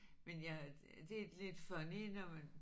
Men jeg det er lidt funny når